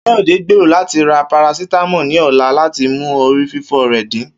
Kayode gbero lati ra paracetamol ni ọla lati mu orififo rẹ din.